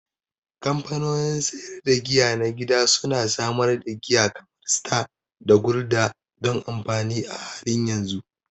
Kamfanonin sayar da giya na gida su na samar da giya kamar Star da Gulder don amfani a halin yanzu.